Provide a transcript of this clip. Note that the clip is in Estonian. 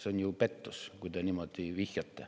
See on pettus, kui te niimoodi vihjate.